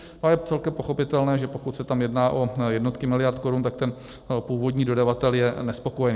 A je celkem pochopitelné, že pokud se tam jedná o jednotky miliard korun, tak ten původní dodavatel je nespokojený.